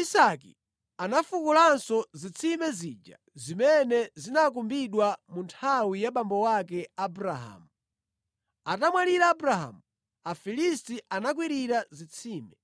Isake anafukulanso zitsime zija zimene zinakumbidwa mu nthawi ya abambo ake Abrahamu. Atamwalira Abrahamu, Afilisti anakwirira zitsimezi.